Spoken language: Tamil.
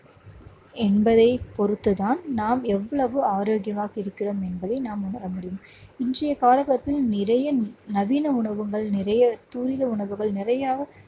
என்பதை பொறுத்துதான் நாம் எவ்வளவு ஆரோக்கியமாக இருக்கிறோம் என்பதை நாம் உணர முடியும். இன்றைய காலகட்டத்தில் நிறைய நவீன உணவகங்கள் நிறைய துரித உணவுகள் நிறைய